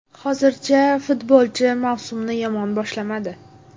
Hozircha futbolchi mavsumni yomon boshlamadi.